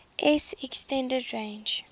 s extended range